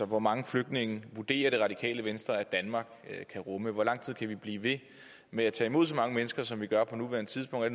hvor mange flygtninge vurderer det radikale venstre danmark kan rumme hvor lang tid kan vi blive ved med at tage imod så mange mennesker som vi gør på nuværende tidspunkt er